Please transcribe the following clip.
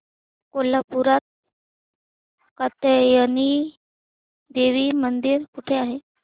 कोल्हापूरात कात्यायनी देवी मंदिर कुठे आहे